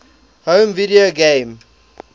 home video game